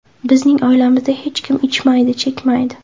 Bizning oilamizda hech kim ichmaydi, chekmaydi.